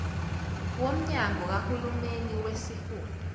womnyango kahulumeni wesifunda